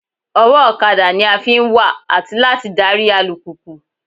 Ọwọ́ ọ̀kadà ni a fi ń wà àti láti darí alùpùpù